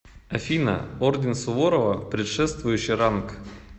афина орден суворова предшествующий ранг